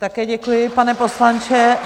Také děkuji, pane poslanče.